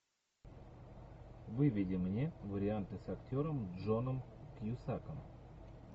выведи мне варианты с актером джоном кьюсаком